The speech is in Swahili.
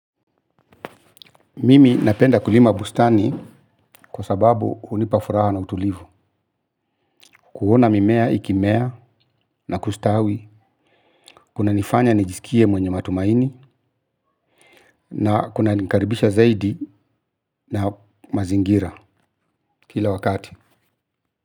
Mimi napenda kulima bustani kwa sababu unipafuraha na utulivu kuona mimea ikimea na kustawi. Kuna nifanya nijisikie mwenye matumaini. Na kuna nikaribisha zaidi na mazingira kila wakati.